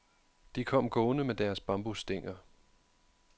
De kom gående med deres bambusstænger.